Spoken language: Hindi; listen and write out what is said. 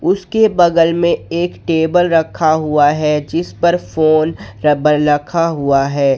उसके बगल में एक टेबल रखा हुआ है जिस पर फोन रबल रखा हुआ है।